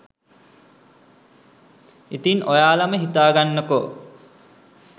ඉතින් ඔයාලම හිතාගන්නකෝ